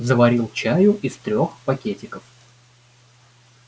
заварил чаю из трёх пакетиков